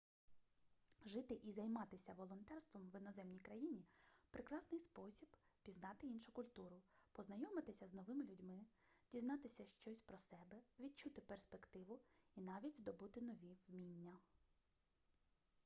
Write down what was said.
жити і займатися волонтерством в іноземній країні прекрасний спосіб пізнати іншу культуру познайомитися з новими людьми дізнатися щось про себе відчути перспективу і навіть здобути нові вміння